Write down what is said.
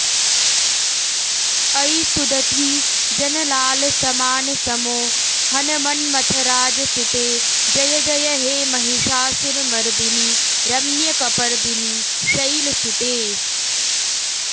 अयि सुदती जनलालसमानसमोहनमन्मथराजसुते जय जय हे महिषासुरमर्दिनि रम्यकपर्दिनि शैलसुते